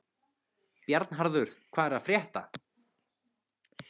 Bjarnharður, hvað er að frétta?